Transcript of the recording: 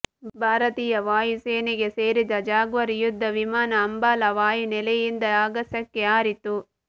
ಭಾರತೀಯ ವಾಯುಸೇನೆಗೆ ಸೇರಿದ ಜಾಗ್ವಾರ್ ಯುದ್ಧ ವಿಮಾನ ಅಂಬಾಲಾ ವಾಯುನೆಲೆಯಿಂದ ಆಗಸಕ್ಕೆ ಹಾರಿತ್ತು